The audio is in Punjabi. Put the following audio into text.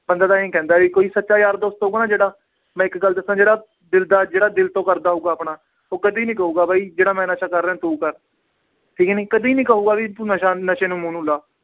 ਬੰਦਾ ਤਾਂ ਇਉਂ ਹੀ ਕਹਿੰਦਾ ਕੋਈ ਸੱਚਾ ਯਾਰ ਦੋਸਤ ਹੋਊਗਾ ਨਾ ਜਿਹੜਾ ਮੈਂ ਇੱਕ ਗੱਲ ਦੱਸਾਂ ਜਿਹੜਾ ਦਿਲ ਦਾ ਜਿਹੜਾ ਦਿਲ ਤੋਂ ਕਰਦਾ ਹੋਊਗਾ ਆਪਣਾ, ਉਹ ਕਦੇ ਨੀ ਕਹੇਗਾ ਬਾਈ ਜਿਹੜਾ ਮੈਂ ਨਸ਼ਾ ਕਰ ਰਿਹਾਂ ਤੂੰ ਕਰ ਠੀਕ ਨੀ, ਕਦੇ ਨੀ ਕਹੇਗਾ ਵੀ ਤੂੰ ਨਸ਼ਾ ਨਸ਼ੇ ਨੂੰ ਮੂੰਹ ਨੂੰ ਲਾ